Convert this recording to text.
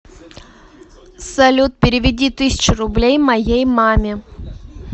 салют переведи тысячу рублей моей маме